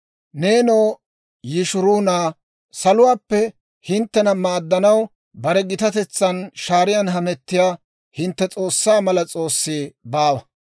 «Neenoo Yishruuna, saluwaappe hinttena maaddanaw, bare gitatetsan shaaran hametiyaa hintte S'oossaa mala s'oossi baawa.